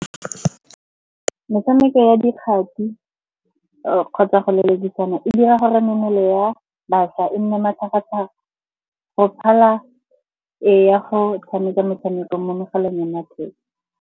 Metshameko ya dikgati kgotsa go lelekisana e dira gore mmele ya bašwa e nne matlhagatlhaga, go phala e ya go tshameka metshameko mo megaleng ya matheka.